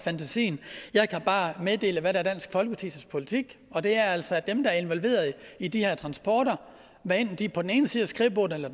fantasien jeg kan bare meddele hvad der er dansk folkepartis politik og det er altså at dem der er involveret i de her transporter hvad enten de er på den ene side af skrivebordet eller